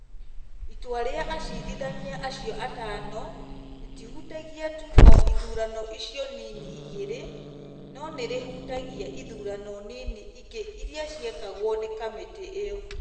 Itua rĩa acirithania acio atano rĩtihutagia tu o ithurano icio inini igĩrĩ, no nĩ rĩhutagia ithurano nini ingĩ iria ciekagwo nĩ kamĩtĩ ĩyo.